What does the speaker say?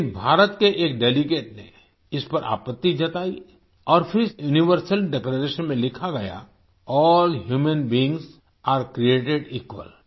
लेकिन भारत के एक डेलीगेट ने इस पर आपत्ति जताई और फिर यूनिवर्सल डिक्लेरेशन में लिखा गया all human beings are created equal